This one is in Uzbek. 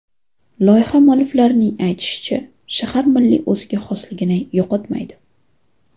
Loyiha mualliflarining aytishicha, shahar milliy o‘ziga xosligini yo‘qotmaydi.